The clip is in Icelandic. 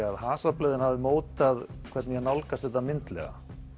að hasarblöðin hafi mótað hvernig ég nálgast þetta myndlega